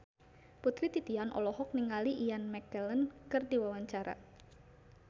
Putri Titian olohok ningali Ian McKellen keur diwawancara